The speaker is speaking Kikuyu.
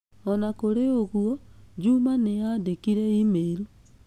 O na kũrĩ ũguo, juma nĩ aandĩkĩire e-mail.